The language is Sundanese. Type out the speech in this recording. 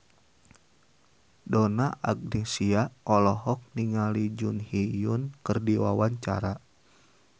Donna Agnesia olohok ningali Jun Ji Hyun keur diwawancara